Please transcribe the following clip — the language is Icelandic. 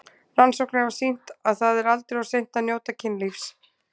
Rannsóknir hafa sýnt að það er aldrei of seint að njóta kynlífs.